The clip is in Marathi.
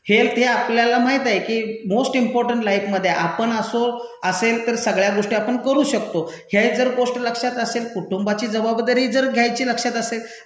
हेल्थ हे आपल्या माहित आहे की मोस्ट इंपॉर्टन्ट लाईफमधे ये. आपण असो, असेल तर सगळ्या गोष्टी आपण करू शकतो. हे जर गोष्ट लक्षात असेल, कुटुंबाची जबबाबदारी जर घ्यायची लक्षात असेल,